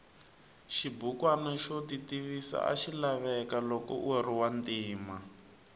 xibukwana xo titivisa axilaveka loko uriwantima